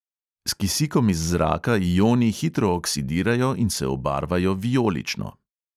S kisikom iz zraka ioni hitro oksidirajo in se obarvajo vijolično.